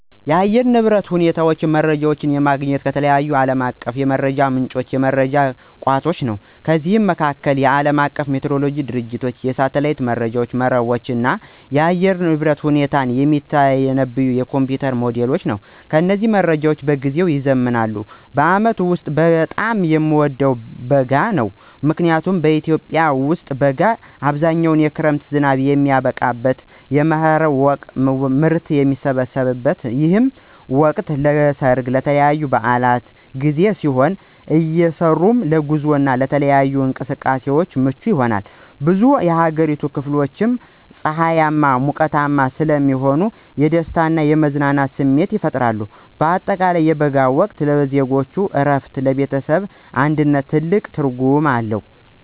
የአየር ንብረት ሁኔታ መረጃዎችን የማገኘው ከተለያዩ ዓለም አቀፍ የመረጃ ምንጮችና የመረጃ ቋቶች ነው። ከነዚህም መካከል፦ የዓለም አቀፉ ሜትሮሎጂ ድርጅቶች፣ የሳተላይት መረጃ መረቦች፣ እና የአየር ሁኔታን የሚተነብዩ የኮምፒዩተር ሞዴሎች ናቸው። እነዚህ መረጃዎች በየጊዜው ይዘምናሉ። በዓመቱ ውስጥ በጣም የምወደው ወቅት በጋ ነው። ምክንያቱም በኢትዮጵያ ውስጥ በጋ በአብዛኛው የክረምት ዝናብ የሚያበቃበትና የመኸር ምርት የሚሰበሰብበት ነው። ይህ ወቅት ለሠርግና ለተለያዩ በዓላት ጊዜ ሲሆን፣ አየሩም ለጉዞና ለተለያዩ እንቅስቃሴዎች ምቹ ይሆናል። በብዙ የአገሪቱ ክፍሎች ላይ ፀሐያማና ሞቃታማ ስለሚሆን የደስታና የመዝናናት ስሜት ይፈጥራል። በአጠቃላይ የበጋው ወቅት ለዜጎች እረፍትና ለቤተሰብ አንድነት ትልቅ ትርጉም አለው።